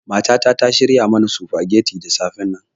Matata ta shirya mana sufageti da safennan.